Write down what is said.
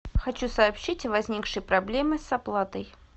хочу сообщить о возникшей проблеме с оплатой